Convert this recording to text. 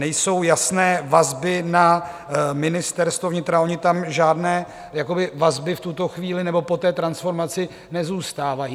Nejsou jasné vazby na Ministerstvo vnitra: ony tam žádné vazby v tuto chvíli - nebo po té transformaci - nezůstávají.